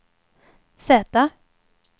Z